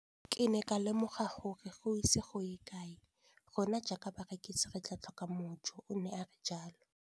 Ke ne ka lemoga gore go ise go ye kae rona jaaka barekise re tla tlhoka mojo, o ne a re jalo.